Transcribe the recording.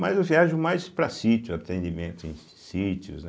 Mas eu viajo mais para sítios, atendimento em sítios, né.